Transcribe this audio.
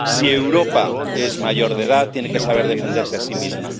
Si Europa es mayor de edad tiene que saber defenderse a sí misma.